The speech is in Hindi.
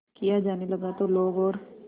किया जाने लगा तो लोग और